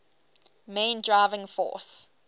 main driving force